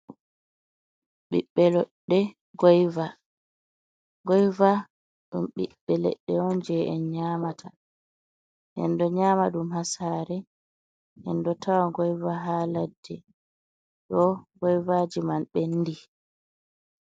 Ɓiɓɓe leɗɗe goyva, goyva ɗum ɓiɓɓe leɗɗe je en nyamata. en ɗo nyama ɗum hasare enɗo tawaɗum ha ladde, ɗo goyva man ɓenɗi.